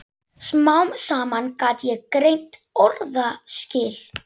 Smám saman gat ég greint orðaskil.